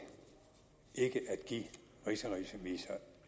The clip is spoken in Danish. give rigsrevisor